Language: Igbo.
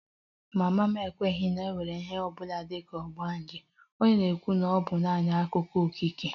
Mama m ekweghị na e nwere ihe ọ bụla dị ka ogbanje, ọ na-ekwu na ọ bụ naanị akụkọ okike